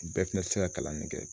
Bɛɛ fɛnɛ tɛ se ka kalan nin kɛ